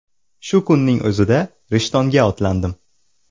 Shu kunning o‘zida Rishtonga otlandim.